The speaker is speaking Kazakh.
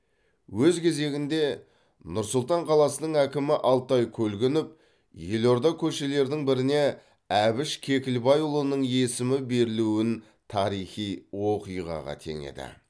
өз кезегінде нұр сұлтан қаласының әкімі алтай көлгінов елорда көшелерінің біріне әбіш кекілбайұлының есімі берілуін тарихи оқиғаға теңеді